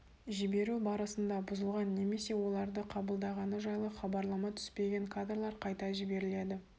жіберу барысында бұзылған немесе олады қабылдағаны жайлы хабарлама түспеген кадрлар қайта жіберіледі